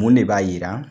Mun de b'a yira